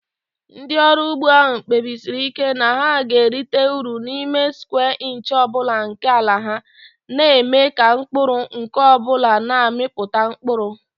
Ndị ọrụ ugbo ahụ kpebisiri ike na ha ga-erite uru n'ime square inch ọ bụla nke ala ha, na-eme ka mkpụrụ nke ọ bụla na-amịpụta mkpụrụ.